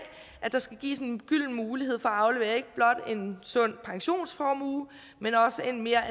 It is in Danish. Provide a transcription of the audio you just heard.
at der skal gives en gylden mulighed for at aflevere ikke blot en sund pensionsformue men også en mere